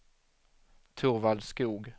Torvald Skoog